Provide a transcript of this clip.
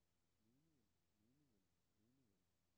meningen meningen meningen